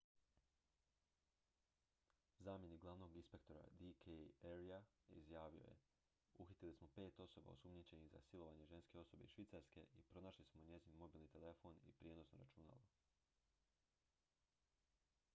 zamjenik glavnog inspektora d k arya izjavio je uhitili smo pet osoba osumnjičenih za silovanje ženske osobe iz švicarske i pronašli smo njezin mobilni telefon i prijenosno računalo